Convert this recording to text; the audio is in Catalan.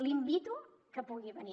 l’invito que pugui venir